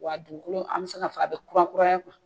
Wa a dufukolola an bɛ se k'a fɔ a bɛ kurakuraya kuwa.